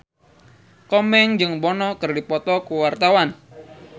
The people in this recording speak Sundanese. Komeng jeung Bono keur dipoto ku wartawan